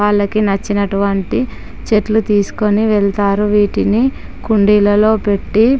వాళ్ళకి నచ్చినటువంటి చెట్లు తీసుకొని వెళ్తారు. వాటిని కుండీలలో పెట్టి--